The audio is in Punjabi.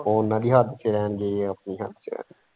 ਉਹ ਉਹਨਾਂ ਦੀ ਹੱਦ ਚ ਰਹਿਣਗੇ ਇਹ ਆਪਣੀ ਹੱਦ ਚ।